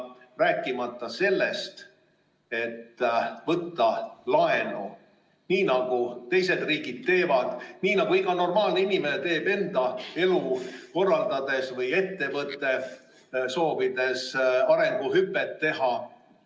Rääkimata sellest, et võiks võtta laenu, nii nagu teised riigid teevad, nii nagu iga normaalne inimene enda elu korraldades teeb, või ettevõte, soovides arenguhüpet teha.